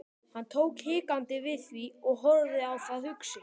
Hann tók hikandi við því og horfði á það hugsi.